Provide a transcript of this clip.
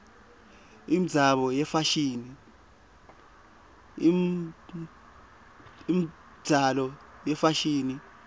imibzalo yefashini